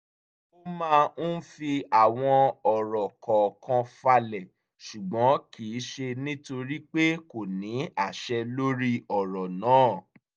ó máa ń fi àwọn ọ̀rọ̀ kọ̀ọ̀kan falẹ̀ ṣùgbọ́n kì í ṣe nítorí pé kò ní àṣẹ lórí ọ̀rọ̀ náà